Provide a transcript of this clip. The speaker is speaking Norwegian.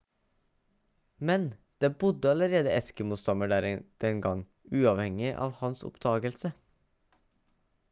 men det bodde allerede eskimo-stammer der den gang uavhengig av hans oppdagelse